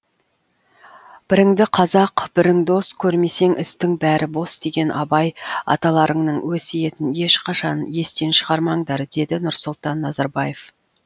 біріңді қазақ бірің дос көрмесең істің бәрі бос деген абай аталарыңның өсиетін ешқашан естен шығармаңдар деді нұрсұлтан назарбаев